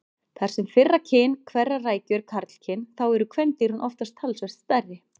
Þar sem fyrra kyn hverrar rækju er karlkyn þá eru kvendýrin oftast talsvert stærri.